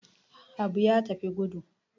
Habu ya tafi gudu.